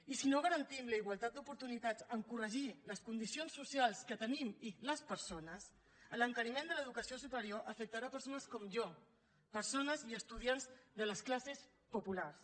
i si no garantim la igualtat d’oportunitats en corregir les condicions socials que tenim i les persones l’encariment de l’educació superior afectarà persones com jo persones i estudiants de les classes populars